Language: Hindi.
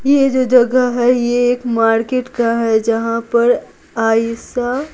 यह जो जगह है यह एक मार्केट का है जहाँ पर आईसा--